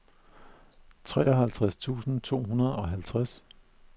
treoghalvtreds tusind to hundrede og halvtreds